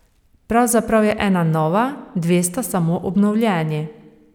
Pravzaprav je ena nova, dve sta samo obnovljeni.